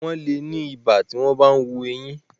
Wọ́n le ni ibà tí wọ́n bá ń hu eyín.